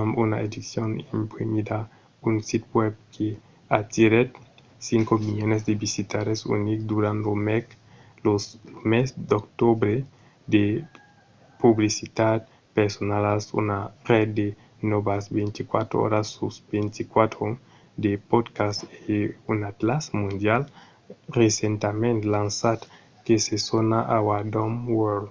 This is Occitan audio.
amb una edicion imprimida un sit web que atirèt 5 000 000 de visitaires unics durant lo mes d'octobre de publicitats personalas una ret de nòvas 24 oras sus 24 de podcasts e un atlàs mondial recentament lançat que se sona our dumb world